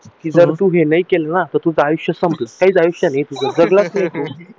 कि तू जर हे नाही केलं ना तर तुझं आयुष्य संपलं काहीच आयुष्य नाही तुझं जगला नाही तू